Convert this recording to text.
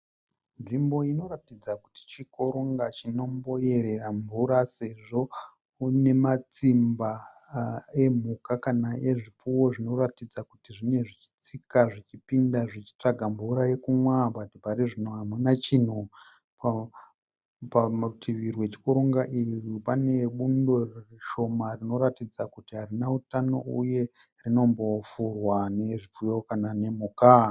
Nzvimbo inoratidza kuti chikoronga chinomboyerera mvura sezvo mune matsimba emhuka kana ezviofuyo zvinoratidza kuti zvinenge zvichipinda zvichitsika zvichitsvaga mvura yekunwa asi parizvino hamuna chinhu. Parutivi rwechikoronga ichi pane bundo rinoratidza kuti harina utano uye rinombofurwa nezvipfuyo nemhuka.